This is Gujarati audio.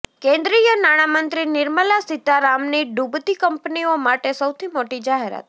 કેન્દ્રીય નાણામંત્રી નિર્મલા સીતારામની ડૂબતી કંપનીઓ માટે સૌથી મોટી જાહેરાત